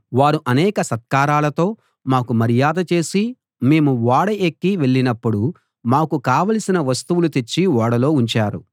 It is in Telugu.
వారు అనేక సత్కారాలతో మాకు మర్యాద చేసి మేము ఓడ ఎక్కి వెళ్ళినప్పుడు మాకు కావలసిన వస్తువులు తెచ్చి ఓడలో ఉంచారు